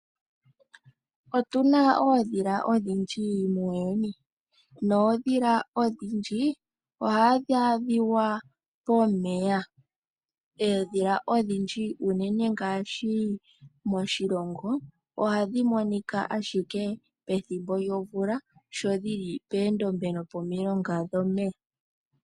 Otuna oondhila odhindji muuyuni, noondhila odhindji, ohadhi adhika pomeya. Oondhila odhindji unene moshilongo, ohadhi monika ashike pethimbo lyomvula, sho dhili poondombe no pomilonga dhomeya.